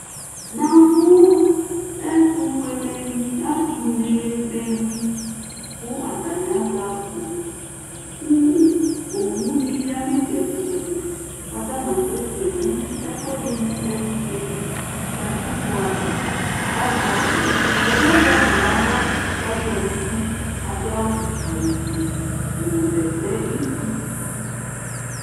na mu ɛtu fuele ni atu ne be wi ku atania azɛ akpo ku ɔwu ni ya nu itsɛɖi - itsɛɖi ku atania asɛ sɛ nu ɛfuɛdi mu ɛkutɛ li katikpo aʋa aʒɛ akpo ɛdi yɛ aʒɛ akpo nu aɣla k'asha n'idu ku adu awu fue nu bɛtɛ iku